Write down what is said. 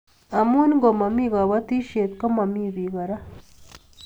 Amu ngomomi kobotisiet komomi bik kora